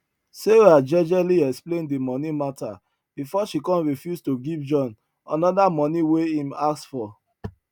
sarah jejely explain the money matter before she come refuse to give john another money wey im ask for